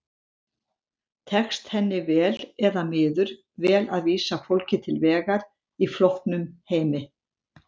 Tekst henni vel eða miður vel að vísa fólki til vegar í flóknum heimi?